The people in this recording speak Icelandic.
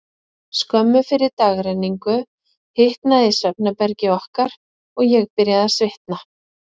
Skömmu fyrir dagrenningu hitnaði í svefnherbergi okkar, og ég byrjaði að svitna.